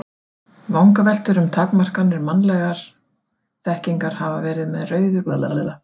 Vangaveltur um takmarkanir mannlegrar þekkingar hafa verið sem rauður þráður í gegnum sögu heimspeki.